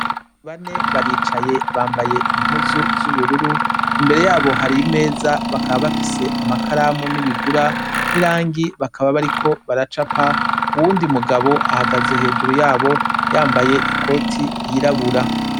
Bane baricaye bambaye impuzu z'ubururu ,imbere yabo hari imeza bakaba bafise amakaramu, n'ibigura, n'irangi bakaba bariko baracapa ,uwundi mugabo ahagaze hejuru yabo, yambaye ikoti yirabura.